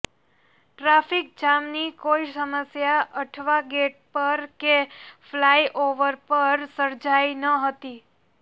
traffic જામની કોઈ સમસ્યા અઠવાગેટ પર કે ફ્લાય ઓવર પર સર્જાઈ ન હતી